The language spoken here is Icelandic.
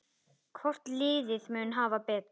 Hvort liðið mun hafa betur?